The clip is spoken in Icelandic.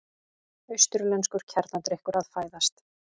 Austurlenskur kjarnadrykkur að fæðast.